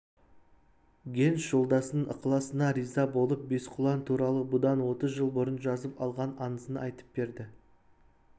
генс жолдасының ықыласына риза болып бесқұлан туралы бұдан отыз жыл бұрын жазып алған аңызын айтып берді